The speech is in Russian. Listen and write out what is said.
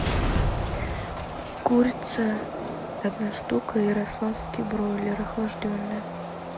курица одна штука ярославский бройлер охлажденная